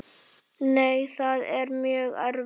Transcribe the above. Nei, það er mjög erfitt.